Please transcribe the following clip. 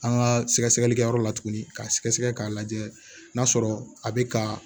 An ka sɛgɛsɛgɛlikɛyɔrɔ la tuguni k'a sɛgɛsɛgɛ k'a lajɛ n'a sɔrɔ a bɛ ka